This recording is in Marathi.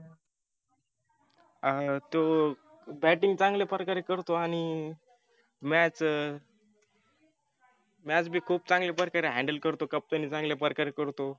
अं तो batting चांगल्या प्रकारे करतो आणि match match बी खुप चांगल्या प्रकारे handle करतो. captain नी चांगल्या प्रकारे करतो.